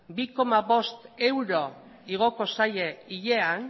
bi koma bost euro igoko zaie hilean